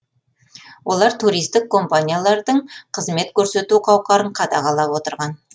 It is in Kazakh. олар туристік компаниялардың қызмет көрсету қауқарын қадағалап отырған